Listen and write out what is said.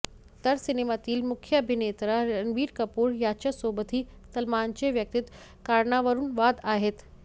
तर सिनेमातील मुख्य अभिनेता रणबीर कपूर याच्यासोबतही सलमानचे वैयक्तिक कारणावरून वाद आहेत